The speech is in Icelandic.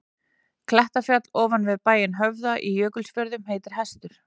Klettafjall ofan við bæinn Höfða í Jökulfjörðum heitir Hestur.